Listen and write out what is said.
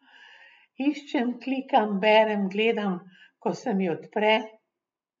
Iščem, klikam, berem, gledam, ko se mi odpre ...